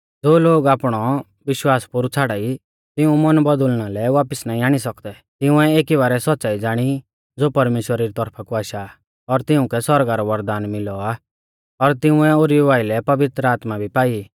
ज़ो लोग आपणौ विश्वास पोरु छ़ाड़ाई तिऊं मन बौदुल़ना लै वापिस नाईं आणी सौकदै तिंउऐ एकी बारै सौच़्च़ाई ज़ाणी ज़ो परमेश्‍वरा री तौरफा कु आशा आ और तिउंकै सौरगा रौ वरदान मिलौ आ और तिंउऐ ओरीऊ आइलै पवित्र आत्मा भी पाई